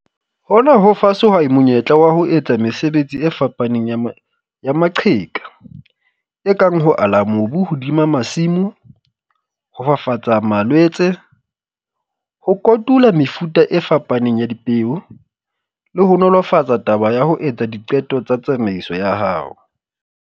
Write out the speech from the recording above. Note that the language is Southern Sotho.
Hona ho fa sehwai monyetla wa ho etsa mesebetsi e fapaneng ya ma ya maqheka, e kang ho ala mobu hodima masimo, ho fafatsa malwetse, ho kotula mefuta e fapaneng ya dipeo, le ho nolofatsa taba ya ho etsa diqeto tsa tsamaiso ya hao.